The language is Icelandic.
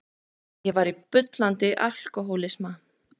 Ég var í bullandi alkohólisma.